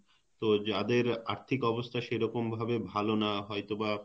তো যাদের আর্থিক অবস্থা সেরকম ভাবে ভাল না হয়তো বা